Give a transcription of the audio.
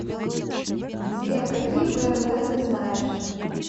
сбер какие бнд ты знаешь